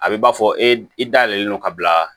A bɛ b'a fɔ e i da yɛlɛlen don ka bila